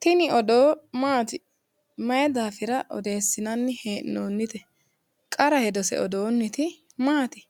Tini odoo Maati Mayi daafira odeessinoonnite qara hedose odoonniti Maati?